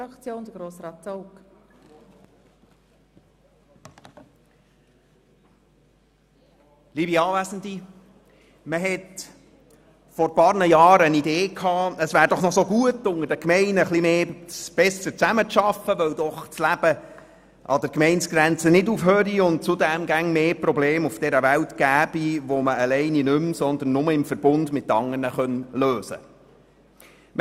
Vor einigen Jahren hatte man die Idee, es wäre doch gut, die Gemeinden würden noch etwas besser zusammenarbeiten, weil doch das Leben nicht an den Gemeindegrenzen endet und es zudem immer mehr Probleme auf dieser Welt gebe, die man nur noch im Verbund mit anderen lösen kann.